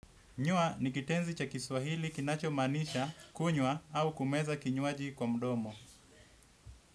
Nywa nikitenzi cha kiswahili kinachomaanisha, kunywa au kumeza kinywaji kwa mdomo.